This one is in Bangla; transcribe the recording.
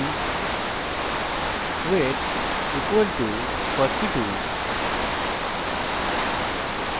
int weight equal to 42